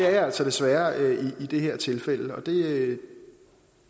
er jeg altså desværre i det her tilfælde og det